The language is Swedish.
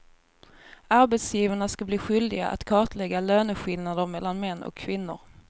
Arbetsgivarna ska bli skyldiga att kartlägga löneskillnader mellan män och kvinnor.